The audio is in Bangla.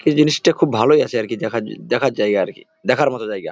এই জিনিসটা খুব ভালই আছে আর কি। দেখার জ দেখার জায়গা আর কি। দেখার মত জায়গা।